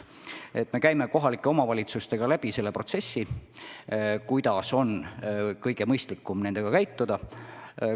Me arutame kohalike omavalitsustega läbi selle protsessi, kuidas oleks kõige mõistlikum nendega toimida.